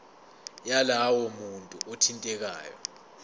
yalowo muntu othintekayo